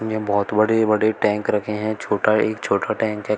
यहां बहोत बड़े बड़े टैंक रखे हैं छोटा एक छोटा टैंक है।